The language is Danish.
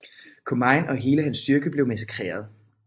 Comine og hele hans styrke blev massakreret